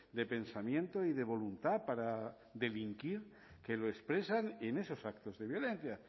de pensamiento y de voluntad para delinquir que lo expresan en esos actos de violencia